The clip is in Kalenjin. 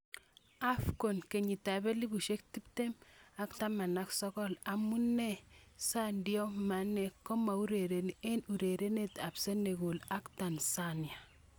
AFCON 2019:Amune Sadio Mane komaurereni eng urerenet ab Senegal ak Tanzania?